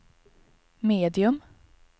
medium